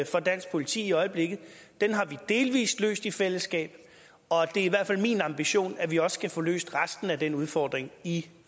for dansk politi i øjeblikket den har vi delvis løst i fællesskab og det er i hvert fald min ambition at vi også kan få løst resten af den udfordring i